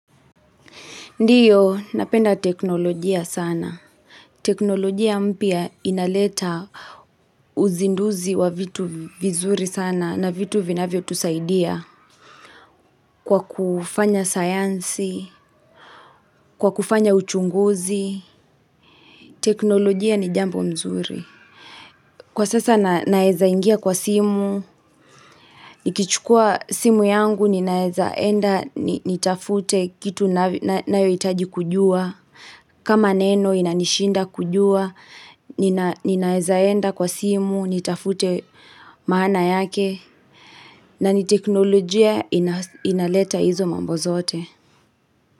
Ndiyo, napenda teknolojia sana. Teknolojia mpya inaleta uzinduzi wa vitu vizuri sana na vitu vinavyo tusaidia. Kwa kufanya sayansi, kwa kufanya uchunguzi, teknolojia ni jambo nzuri. Kwa sasa naeza ingia kwa simu, nikichukua simu yangu ninaeza enda nitafute kitu nayohitaji kujua. Kama neno inanishinda kujua, ninaeza enda kwa simu, nitafute maana yake, na ni teknolojia inaleta hizo mambo zote.